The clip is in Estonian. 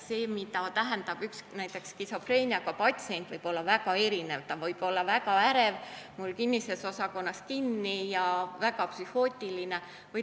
See, mida tähendab näiteks skisofreeniaga patsient, võib olla väga erinev, ta võib olla väga ärev, mul kinnises osakonnas kinni, või ka väga psühhootiline.